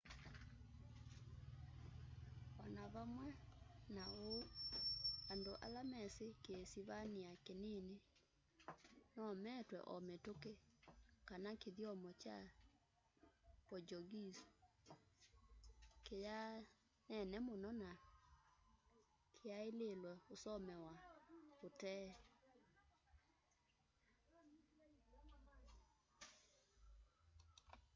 o na vamwe na uu and ala mesi kiisivania kinini nomatw'e o mituki kana kityomo kya ki portuguese kithyaanene muno na kiaililwe usomewa utee